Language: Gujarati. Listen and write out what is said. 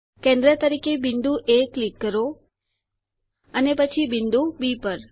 કેન્દ્ર તરીકે બિંદુ એ પર ક્લિક કરો અને પછી બિંદુ બી પર